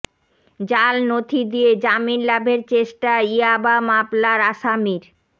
জাল নথি দিয়ে জামিন লাভের চেষ্টা ইয়াবা মামলার আসামির